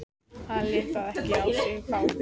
Hann lét það ekki á sig fá.